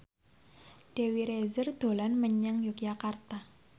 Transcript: Dewi Rezer dolan menyang Yogyakarta